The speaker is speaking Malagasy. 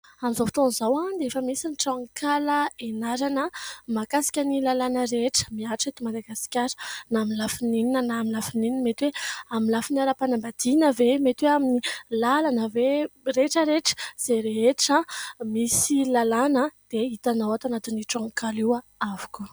Amin'izao fotoan'izao dia efa misy ny tranonkala ianarana mahakasika ny lalàna rehetra mihatra eto Madagasikara na amin'ny lafiny inona na amin'ny lafiny inona. Mety hoe amin'ny lafin'ny ara-panambadiana ve ? Mety hoe amin'ny lalana ve ? Rehetra rehetra, izay rehetra misy lalàna dia hitanao ato anatin'ny tranonkala avokoa.